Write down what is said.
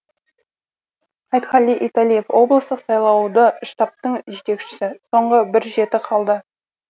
айтқали италиев облыстық сайлауалды штабтың жетекшісі соңғы бір жеті қалды